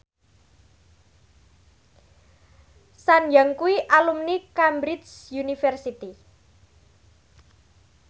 Sun Yang kuwi alumni Cambridge University